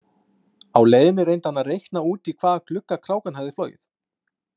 Á leiðinni reyndi hann að reikna út í hvaða glugga krákan hefði flogið.